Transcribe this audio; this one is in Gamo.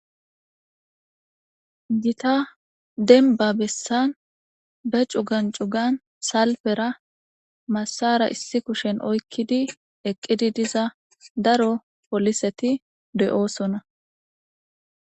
gita denba bessan be cugan cugan salfera massara issi kushen oykkidi eqqidi diza daro poliseti deyoosona